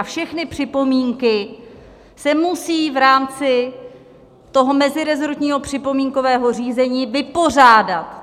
A všechny připomínky se musí v rámci toho mezirezortního připomínkového řízení vypořádat.